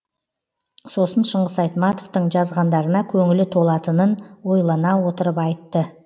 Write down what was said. сосын шыңғыс айтматовтың жазғандарына көңілі толатынын ойлана отырып айтты